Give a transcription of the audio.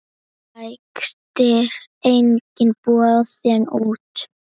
Rekstur einnig boðinn út.